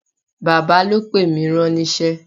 Bàbá ló pè mí ránníṣẹ́